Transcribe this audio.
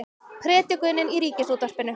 Predikunin í Ríkisútvarpinu